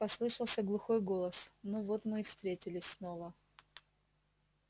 послышался глухой голос ну вот мы и встретились снова